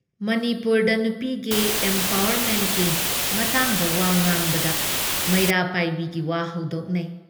ꯃꯅꯤꯄꯨꯔꯗ ꯅꯨꯄꯤꯒꯤ ꯑꯦꯝꯄꯋꯥꯔꯃꯦꯟꯠꯀꯤ ꯃꯇꯥꯡꯗ ꯋꯥ ꯉꯥꯡꯅꯕꯗ ꯃꯩꯔꯥ ꯄꯥꯏꯕꯤꯒꯤ ꯋꯥ ꯍꯧꯗꯣꯛꯅꯩ ꯫